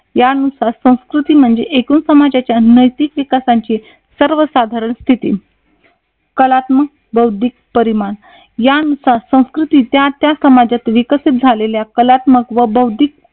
यानुसार संस्कृती म्हणजे एकूण समाजाच्या नैतिक विकासाची सर्व साधारण स्थिती कलात्मक बौद्धिक परिमाण यानुसार संस्कृती त्या त्या समाजात विकसित झालेल्या कलात्मक व बौद्धिक